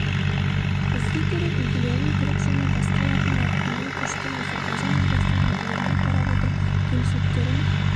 бізге керек үлгілерін түрік және басқа латын әрпіне көшкен әзербайжан өзбекстан үлгілеріне қарап отырып кемшіліктерін